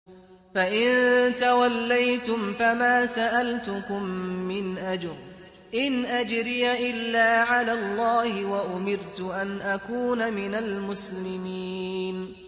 فَإِن تَوَلَّيْتُمْ فَمَا سَأَلْتُكُم مِّنْ أَجْرٍ ۖ إِنْ أَجْرِيَ إِلَّا عَلَى اللَّهِ ۖ وَأُمِرْتُ أَنْ أَكُونَ مِنَ الْمُسْلِمِينَ